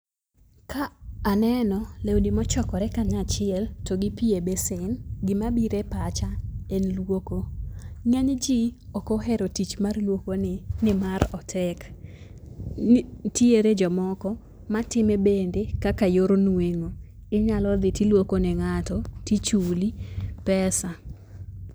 Ka aneno lewni mochokore kanyachiel, to gipi e besen, gimabiro e pacha en luoko. Ng'eny ji ok ohero tich mar luokoni nimar otek. Nitiere jomoko matime bende kaka yor nueng'o. Inyalo dhi tiluoko ne ng'ato tichuli pesa.